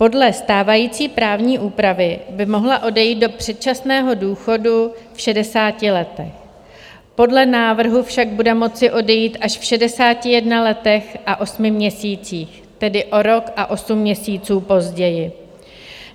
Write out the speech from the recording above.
Podle stávající právní úpravy by mohla odejít do předčasného důchodu v 60 letech, podle návrhu však bude moci odejít až v 61 letech a 8 měsících, tedy o rok a 8 měsíců později.